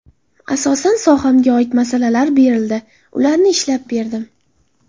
Asosan sohamga oid masalalar berildi, ularni ishlab berdim.